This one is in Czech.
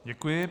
Děkuji.